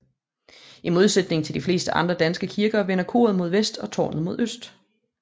I modsætning til de fleste andre danske kirker vender koret mod vest og tårnet mod øst